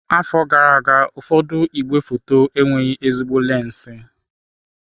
Afọ gara aga, ụfọdụ igwefoto enweghị ezigbo lensi.